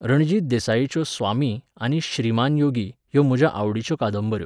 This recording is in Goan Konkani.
रणजीत देसाईच्यो 'स्वामी' आनी 'श्रीमान' योगी ह्यो म्हज्यो आवडीच्यो कादंबऱ्यो.